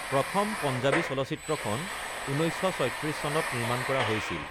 প্ৰথম পঞ্জাবী চলচ্চিত্ৰখন ১৯৩৬ চনত নিৰ্মাণ কৰা হৈছিল।